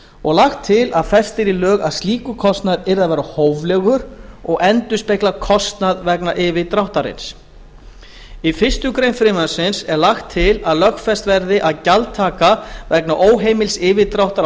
og lagt til að fest yrði í lög að slíkur kostnaður skyldi vera hóflegur og endurspegla kostnað vegna yfirdráttarins í fyrstu grein frumvarpsins er lagt til að lögfest verði að gjaldtaka vegna óheimils yfirdráttar af